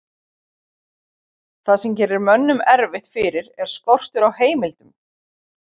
það sem gerir mönnum erfitt fyrir er skortur á heimildum